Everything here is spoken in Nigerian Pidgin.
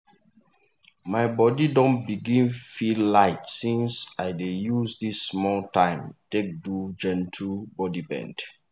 my body don begin feel light since i dey use this small time take do gentle body bend.